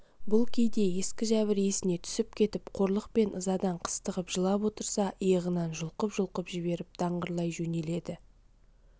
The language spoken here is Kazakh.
бұл кейде ескі жәбір есіне түсіп кетіп қорлық пен ызадан қыстығып жылап отырса иығынан жұлқып-жұлқып жіберіп даңғырлай жөнеледі